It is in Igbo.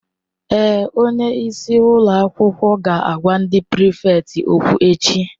Èé, Onye isi ụlọ akwụkwọ ga-agwa ndị prịfèkt okwu echi.